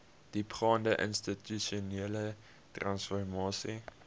diepgaande institusionele transformasie